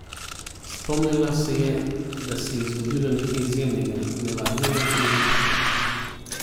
Spomnila se je, da se je zgodilo nekaj izjemnega, nevarnega in ljubkega.